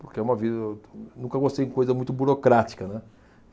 porque é uma, nunca gostei de coisa muito burocrática, né.